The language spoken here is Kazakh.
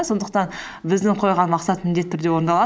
сондықтан біздің қойған мақсат міндетті түрде орындалады